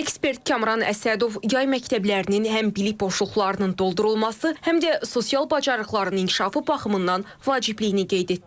Ekspert Kamran Əsədov yay məktəblərinin həm bilik boşluqlarının doldurulması, həm də sosial bacarıqların inkişafı baxımından vacibliyini qeyd etdi.